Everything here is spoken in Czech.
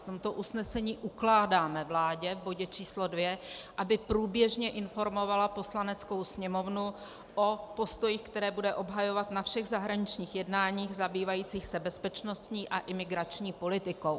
V tomto usnesení ukládáme vládě v bodě č. II, aby průběžně informovala Poslaneckou sněmovnu o postojích, které bude obhajovat na všech zahraničních jednáních zabývajících se bezpečnostní a imigrační politikou.